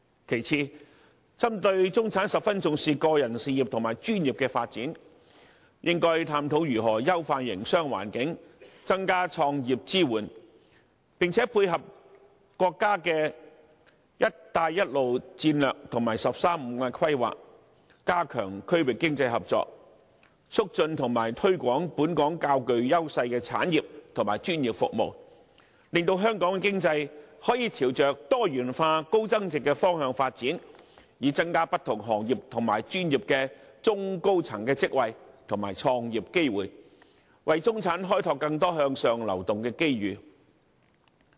其次，針對中產十分重視個人事業和專業的發展，應該探討如何優化營商環境，增加創業支援，並且配合國家的"一帶一路"策略和"十三五"規劃，加強區域經濟合作，促進和推廣本港較具優勢的產業和專業服務，令香港的經濟可以朝着多元化、高增值的方向發展，以增加不同行業和專業的中高層職位和創業機會，為中產開拓更多向上流動的機遇。